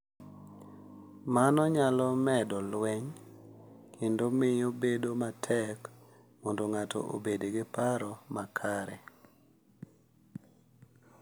Mano nyalo medo lweny, kendo miyo bedo matek mondo ng’ato obed gi paro makare.